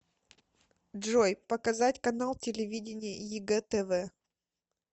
джой показать канал телевидения егэ тв